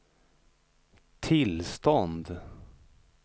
tillstånd